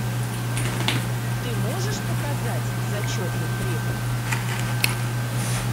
ты можешь показать зачетный препод